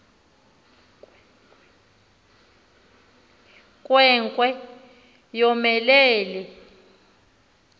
nkwe nkwe yomelele